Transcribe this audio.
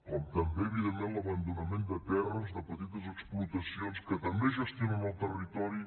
com també evidentment l’abandonament de terres de petites explotacions que també gestionen el territori